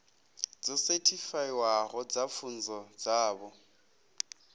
dzo sethifaiwaho dza pfunzo dzavho